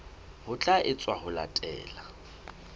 ho tla etswa ho latela